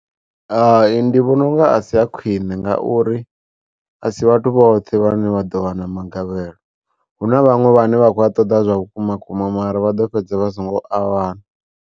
Hai ndi vhona unga a si a khwiṋe ngauri a si vhathu vhoṱhe vhane vha ḓo wana magavhelo, hu na vhaṅwe vhane vha khou ṱoḓa zwa vhukuma vhukuma mara vha ḓo fhedza vha songo a wana.